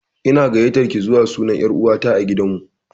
Ina gayatar ki zuwa suna na er'uwa ta a gidan mu.